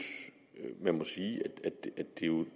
at man må sige at